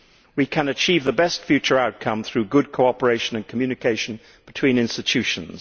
We can achieve the best future outcome through good cooperation and communication between institutions.